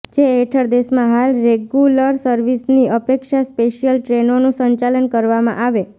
જે હેઠળ દેશમાં હાલ રેગુલર સર્વિસની અપેક્ષા સ્પેશિયલ ટ્રેનોનું સંચાલન કરવામાં આવે